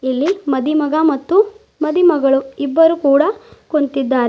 ಇಲ್ಲಿ ಮದಿಮಗ ಮತ್ತು ಮದಿಮಗಳು ಇಬ್ಬರು ಕೂಡ ಕುಂತಿದ್ದಾರೆ.